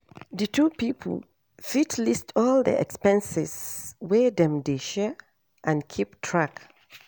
Di two pipo fit list all di expenses wey dem dey share and keep track